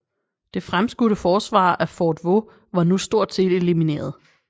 Det fremskudte forsvar af fort Vaux var nu stort set elimineret